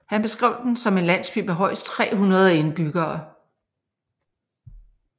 Han beskrev den som en landsby med højst 300 indbyggere